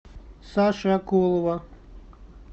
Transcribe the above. саши акулова